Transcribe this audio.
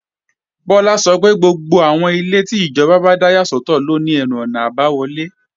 Bọ́lá sọ pé gbogbo àwọn ilé GRA ló ní ẹnu-ọ̀nà àbáwọlé